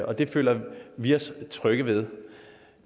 og det føler vi os trygge ved